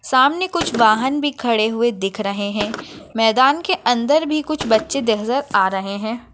सामने कुछ वाहन भी खड़े हुए दिख रहे है मैदान के अंदर भी कुछ बच्चे नजर आ रहे है।